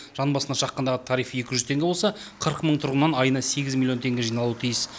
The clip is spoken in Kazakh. жан басына шаққандағы тариф екі жүз теңге болса қырық мың тұрғыннан айына сегіз миллион теңге жиналуы тиіс